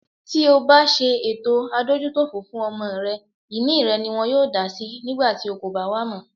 Tí obá ṣe ètò adójútòfò fún ọmọ rẹ, ìní rẹ̀ niwọn yóò dásí nígbàtí o kòbá wà mọ́.